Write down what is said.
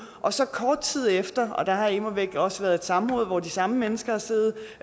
og så kort tid efter og der har immer væk også været et samråd hvor de samme mennesker har siddet